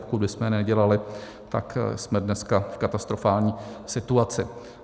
Pokud bychom je nedělali, tak jsme dneska v katastrofální situaci.